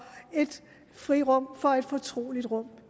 et frirum for et fortroligt rum